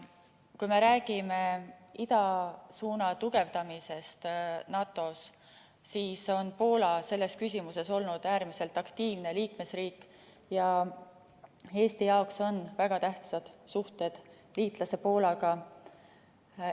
Kui me räägime idasuuna tugevdamisest NATO‑s, siis on Poola selles küsimuses olnud äärmiselt aktiivne liikmesriik, ja Eesti jaoks on liitlassuhted Poolaga väga tähtsad.